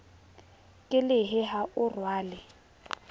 ke lehe ha o rwale